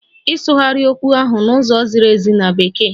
Ịsụgharị okwu ahụ n'ụzọ ziri ezi na Bekee!